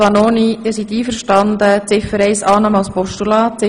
Vanoni: Sind sie einverstanden mit dem Regierungsantrag?